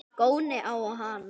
Góni á hana.